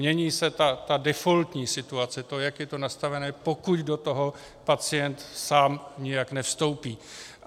Mění se ta defaultní situace, to, jak je to nastavené, pokud do toho pacient sám nijak nevstoupí.